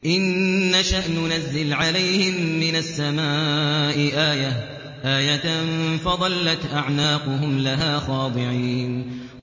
إِن نَّشَأْ نُنَزِّلْ عَلَيْهِم مِّنَ السَّمَاءِ آيَةً فَظَلَّتْ أَعْنَاقُهُمْ لَهَا خَاضِعِينَ